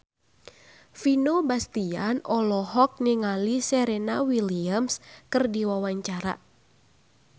Vino Bastian olohok ningali Serena Williams keur diwawancara